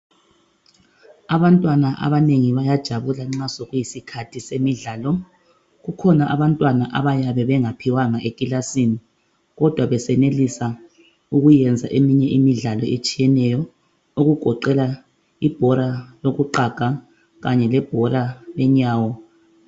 Abantwana abanengi bayajabula nxa sekuyisikhathi semidlalo kukhona abantwana abayabe bengaphiwanga ekilasini kodwa besenelisa ukwenza eminye imidlalo etshiyeneyo okugoqela ibhola lokuqhaga kanye lebhola lenyawo